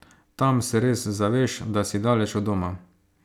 Tam se res zaveš, da si daleč od doma.